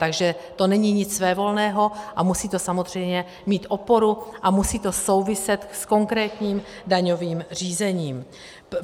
Takže to není nic svévolného a musí to samozřejmě mít oporu a musí to souviset s konkrétním daňovým řízením.